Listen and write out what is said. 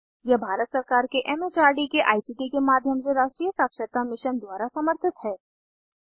यह भारत सरकार के एम एच आर डी के आई सी टी के माध्यम से राष्ट्रीय साक्षरता मिशन द्वारा समर्थित है